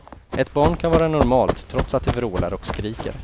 Ett barn kan vara normalt trots att det vrålar och skriker.